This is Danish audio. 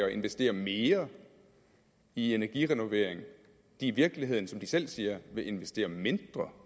at investere mere i energirenovering i virkeligheden som de selv siger vil investere mindre